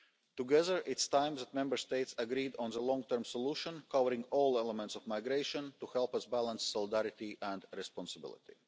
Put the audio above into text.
more. Together, it is time that Member States agreed on a long term solution covering all elements of migration, to help us balance solidarity and responsibility.